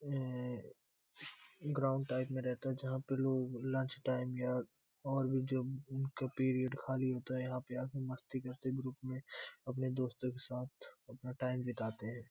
Ground type में रहता है। जहाॅं पे लोग लंच टाइम में या और भी जो उनका पीरीयड खाली होता है यहाॅं पे मस्ती करते ग्रुप में अपने दोस्तों के साथ टाइम बिताते हैं।